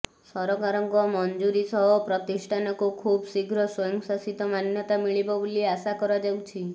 ସରକାରଙ୍କ ମଂଜୁରୀ ସହ ପ୍ରତିଷ୍ଠାନକୁ ଖୁବ୍ ଶୀଘ୍ର ସ୍ବୟଂ ଶାସିତ ମାନ୍ୟତା ମିଳିବ ବୋଲି ଆଶା କରାଯାଉଛି